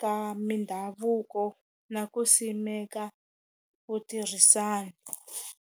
ka mindhavuko na ku simeka ku tirhisana.